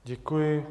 Děkuji.